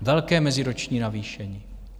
Velké meziroční navýšení.